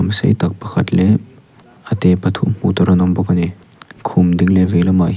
sei tak pakhat leh a te pathum hmuh tur an awm bawk a ni khum ding leh vei lamah hian--